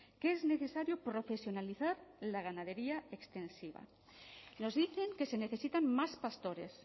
que es necesario profesionalizar la ganadería extensiva nos dicen que se necesitan más pastores